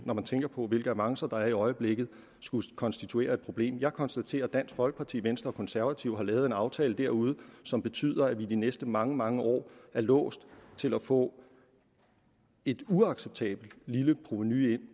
når man tænker på hvilke avancer der er i øjeblikket skulle konstituere et problem jeg konstaterer at dansk folkeparti venstre og konservative har lavet en aftale derude som betyder at vi i de næste mange mange år er låst til at få et uacceptabelt lille provenu ind